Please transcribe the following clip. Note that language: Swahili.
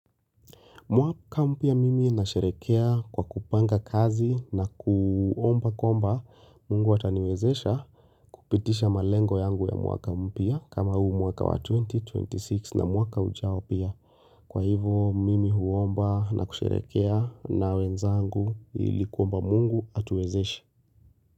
Mwaka mpya mimi nasherehekea kwa kupanga kazi na kuomba kwamba mungu ataniwezesha kupitisha malengo yangu ya mwaka mpya kama huu mwaka wa twenty twenty six na mwaka ujao pia. Kwa hivo mimi huomba na kusherehekea na wenzangu ili kuomba mungu atuwezeshe.